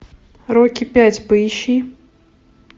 рокки пять поищи